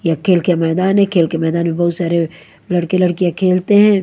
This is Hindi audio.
ये खेल के मैदान है खेल के मैदान में बहुत सारे लड़के लड़कियां खेलते हैं।